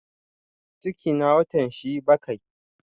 Cikina watan shi bakai